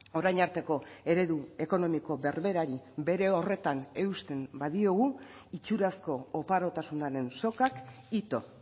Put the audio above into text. orain arteko eredu ekonomiko berberari bere horretan eusten badiogu itxurazko oparotasunaren sokak ito